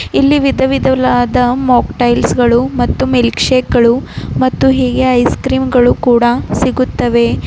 ಇಲ್ಲಿ ವಿಧವಿಧವಾದ ಮಾಕ್ಟೈಲ್ಸ್ ಗಳು ಮತ್ತು ಮಿಲ್ಕ್ ಶೇಕ್ ಗಳು ಮತ್ತು ಹೀಗೆ ಐಸ್ ಕ್ರೀಮ್ ಗಳು ಕೂಡ ಸಿಗುತ್ತವೆ.